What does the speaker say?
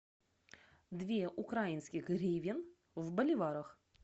две украинских гривен в боливарах